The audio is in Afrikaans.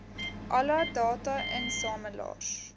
alle data insamelaars